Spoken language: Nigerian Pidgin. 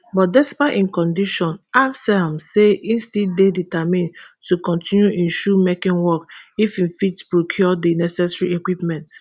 but despite im condition anselm say e still dey determined to kontinu im shoe making work if e fit procure di necessary equipment